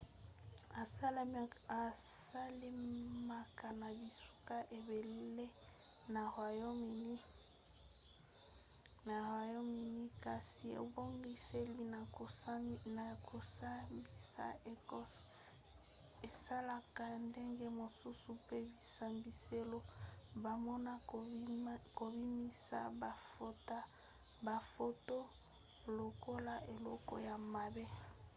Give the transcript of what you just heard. esalemaka na bisika ebele na royaume-uni kasi ebongiseli ya kosambisa ya ecosse esalaka ndenge mosusu pe bisambiselo bamona kobimisa bafoto lokola eloko ya mabe